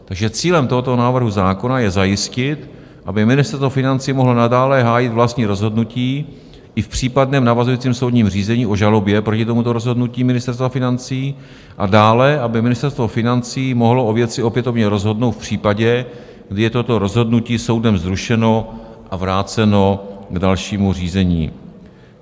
Takže cílem tohoto návrhu zákona je zajistit, aby Ministerstvo financí mohlo nadále hájit vlastní rozhodnutí i v případném navazujícím soudním řízení o žalobě proti tomuto rozhodnutí Ministerstva financí a dále aby Ministerstvo financí mohlo o věci opětovně rozhodnout v případě, kdy je toto rozhodnutí soudem zrušeno a vráceno k dalšímu řízení.